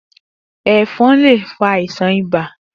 Efòn lé fá àisán ìbá